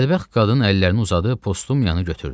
Bədbəxt qadın əllərini uzadıb Postumiyanı götürdü.